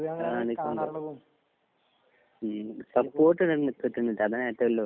ഈ സപ്പോർട്ടിനല്ല പ്രശ്നം.